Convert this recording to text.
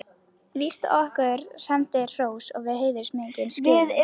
Þetta er bara orðrómur í fjölmiðlum.